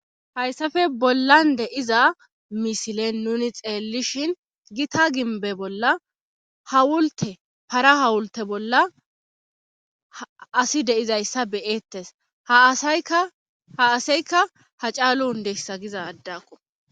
hayssafe bollan deiza misilen nuni xeellishin gita gimbe bolla hawulte para hawulte bolla asi deizayssa beyeettes ha aseykka ha caalu undeyssa giza addakku